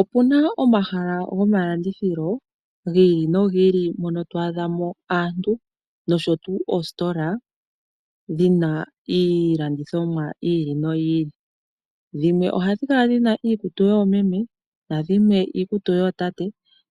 Opena omahala gomalandithilo gi ili no gi ili mono to adha mo aantu nosho tuu oositola dhina iilandithonwa yi ili noyi ili. Dhimwe ohadhi kala dhina iikutu yoomeme, nadhimwe iikutu yootate,